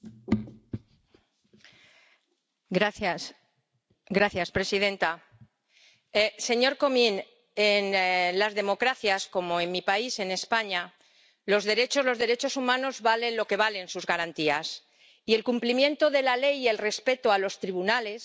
Señora presidenta, señor Comín, en las democracias, como en mi país, en España, los derechos humanos valen lo que valen sus garantías, y el cumplimiento de la ley y el respeto a los tribunales, que respetan